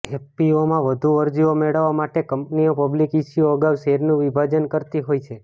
એફપીઓમાં વધુ અરજીઓ મેળવવા માટે કંપનીઓ પબ્લિક ઇશ્યૂ અગાઉ શેરનું વિભાજન કરતી હોય છે